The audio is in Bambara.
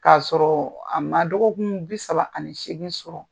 Ka sɔrɔ a ma dɔgɔkun bi saba ani seegin sɔrɔ.